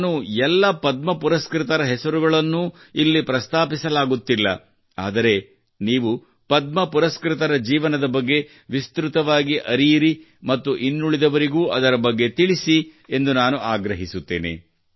ನಾನು ಎಲ್ಲ ಪದ್ಮ ಪುರಸ್ಕೃತರ ಹೆಸರುಗಳನ್ನು ಇಲ್ಲಿ ಪ್ರಸ್ತಾಪಿಸಲಾಗುವುದಿಲ್ಲ ಆದರೆ ನೀವು ಪದ್ಮ ಪುರಸ್ಕೃತರ ಜೀವನದ ಬಗ್ಗೆ ವಿಸ್ತೃತವಾಗಿ ಅರಿಯಿರಿ ಮತ್ತು ಇನ್ನುಳಿದವರಿಗೂ ಅದರ ಬಗ್ಗೆ ತಿಳಿಸಿ ಎಂದು ನಾನು ಆಗ್ರಹಿಸುತ್ತೇನೆ